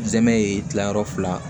N zɛmɛ ye gilanyɔrɔ fila